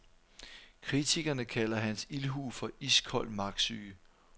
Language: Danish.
Kritikerne kalder hans ildhu for iskold magtsyge.